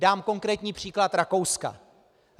Dám konkrétní příklad Rakouska.